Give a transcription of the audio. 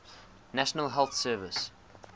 national health service